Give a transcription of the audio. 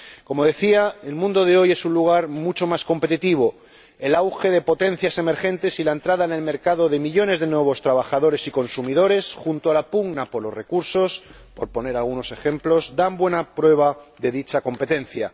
Como decía, el mundo de hoy es un lugar mucho más competitivo el auge de potencias emergentes y la entrada en el mercado de millones de nuevos trabajadores y consumidores, junto a la pugna por los recursos ―por poner algunos ejemplos―, son buena prueba de dicha competencia.